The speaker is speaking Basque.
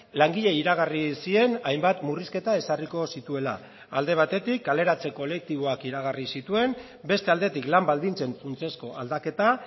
langileei iragarri zien hainbat murrizketa ezarriko zituela alde batetik kaleratze kolektiboak iragarri zituen beste aldetik lan baldintzen funtsezko aldaketa